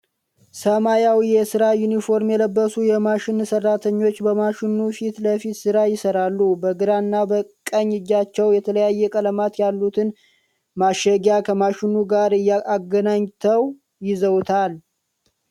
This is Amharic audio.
ሰማያዊ የስራ ዩኒፎርም የለበሱ የማሽን ሰራተኞች በማሽኑ ፊት ለፊት ስራ ይሰራሉ። በግራ እና ቀኝ እጃቸዉ የተለያየ ቀለማት ያሉትን ማሸጊያ ከማሽኑ ጋር አገናኝተዉ ይዘዉታል።